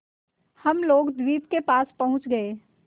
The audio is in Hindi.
हम लोग द्वीप के पास पहुँच गए